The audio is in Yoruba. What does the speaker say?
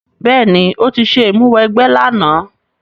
Béèní, o ti se ìmúniwẹgbẹ́ làná